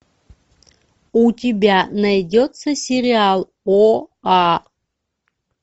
у тебя найдется сериал оа